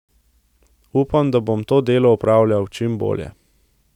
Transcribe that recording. Upam, da bom to delo opravljal čim bolje.